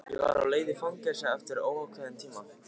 Ég var á leið í fangelsi eftir óákveðinn tíma.